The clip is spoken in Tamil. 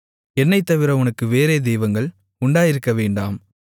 என்னைத்தவிர உனக்கு வேறே தெய்வங்கள் உண்டாயிருக்கவேண்டாம்